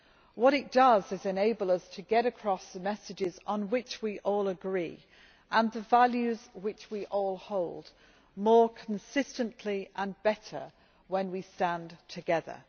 What it does is enable us to get across the messages on which we all agree, and the values which we all hold, more consistently and better when we stand together.